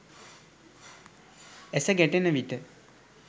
ඇස ගැටෙන විට